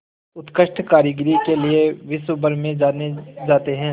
उत्कृष्ट कारीगरी के लिये विश्वभर में जाने जाते हैं